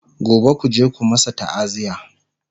gobe kuje ku masu ta'aziya!